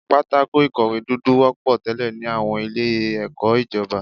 Pátákó ìkọ̀wé dúdú wọ́pọ̀ tẹ́lẹ̀ ní àwọn ilé ẹ̀kọ́ ìjọba.